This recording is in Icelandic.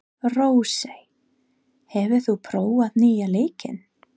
Rósey, hefur þú prófað nýja leikinn?